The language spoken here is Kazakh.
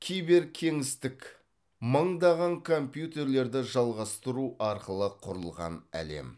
киберкеңістік мыңдаған компьютерлерді жалғастыру арқылы құрылған әлем